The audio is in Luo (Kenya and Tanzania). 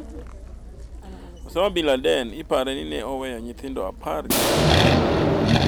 Osama bin Laden ipare ni noweyo nyithindo apar gi abiro.